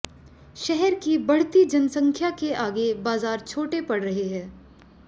शहर की बढ़ती जनसंख्या के आगे बाजार छोटे पड़ रहे हैं